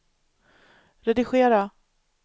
redigera